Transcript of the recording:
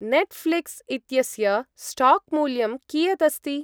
Netflix इत्यस्य स्टाक्-मूल्यं कियत् अस्ति?